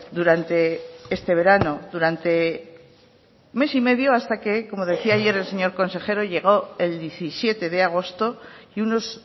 durante este verano durante mes y medio hasta que como decía ayer el señor consejero llegó el diecisiete de agosto y unos